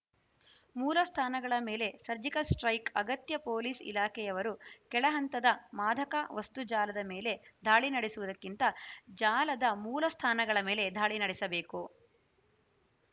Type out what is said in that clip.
ಮೂಲ ಸ್ಥಾನಗಳ ಮೇಲೆ ಸರ್ಜಿಕಲ್‌ ಸ್ಟೆ್ರೖಕ್‌ ಅಗತ್ಯ ಪೊಲೀಸ್‌ ಇಲಾಖೆಯವರು ಕೆಳಹಂತದ ಮಾದಕ ವಸ್ತು ಜಾಲದ ಮೇಲೆ ದಾಳಿ ನಡೆಸುವುದಕ್ಕಿಂತ ಜಾಲದ ಮೂಲಸ್ಥಾನಗಳ ಮೇಲೆ ದಾಳಿ ನಡೆಸಬೇಕು